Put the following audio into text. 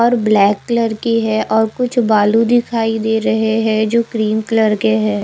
और black colour की है और कुछ बालू दिखाई दे रहे हैं जो क्रीम कलर के हैं।